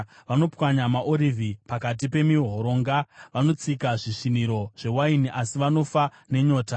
Vanopwanya maorivhi pakati pemihoronga; vanotsika zvisviniro zvewaini, asi vanofa nenyota.